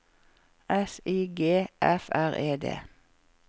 S I G F R E D